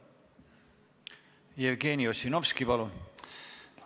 Jevgeni Ossinovski, palun!